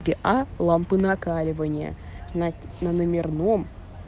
а лампы накаливания на номерном